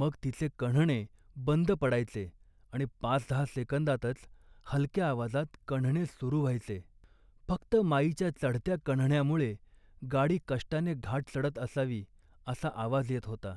मग तिचे कण्हणे बंद पडायचे आणि पाचदहा सेकंदातच हलक्या आवाजात कण्हणे सुरू व्हायचे. फक्त माईच्या चढत्या कण्हण्यामुळे गाडी कष्टाने घाट चढत असावी असा आवाज येत होता